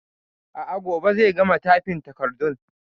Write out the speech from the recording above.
A'a, gobe zai gama tyfin takardun